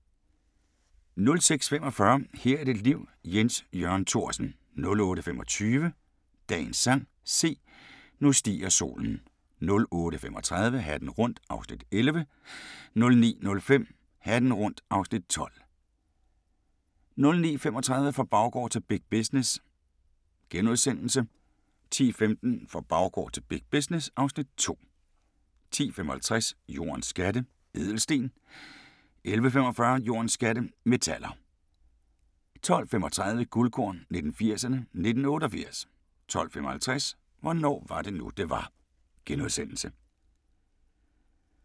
06:45: Her er dit liv – Jens Jørgen Thorsen 08:25: Dagens sang: Se, nu stiger solen 08:35: Hatten rundt (Afs. 11) 09:05: Hatten rundt (Afs. 12) 09:35: Fra baggård til big business * 10:15: Fra baggård til big business (Afs. 2) 10:55: Jordens skatte – ædelsten 11:45: Jordens skatte – metaller 12:35: Guldkorn 1980'erne: 1988 12:55: Hvornår var det nu det var? *